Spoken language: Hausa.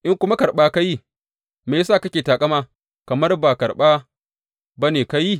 In kuma karɓa ka yi, me ya sa kake taƙama kamar ba karɓa ba ne ka yi?